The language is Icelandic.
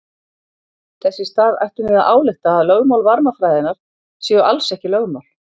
Þess í stað ættum við að álykta að lögmál varmafræðinnar séu alls ekki lögmál.